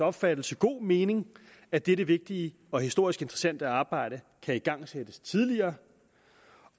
opfattelse god mening at dette vigtige og historisk interessante arbejde kan igangsættes tidligere